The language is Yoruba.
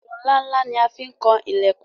Èṣó ńlá ńlá la fi kan ilẹ̀kùn